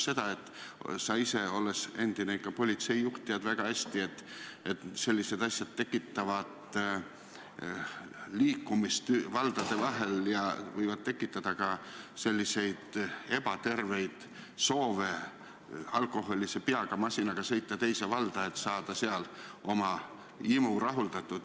Sa ise, olles endine politseijuht, tead väga hästi, et sellised asjad tekitavad liikumist valdade vahel ja võivad tekitada ka ebaterveid soove alkoholise peaga teise valda sõita, et saada seal oma himu rahuldatud.